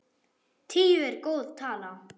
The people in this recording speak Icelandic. Tíu er góð tala.